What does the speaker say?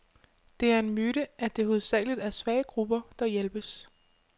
Det er en myte, at det hovedsageligt er svage grupper, der hjælpes.